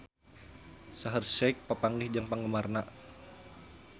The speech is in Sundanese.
Shaheer Sheikh papanggih jeung penggemarna